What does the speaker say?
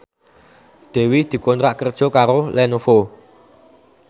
Dewi dikontrak kerja karo Lenovo